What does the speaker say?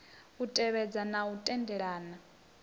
u tevhedza na u tendelana